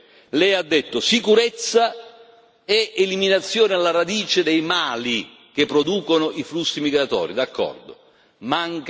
Sull'immigrazione lei ha fatto riferimento alla sicurezza e all'eliminazione alla radice dei mali che producono i flussi migratori.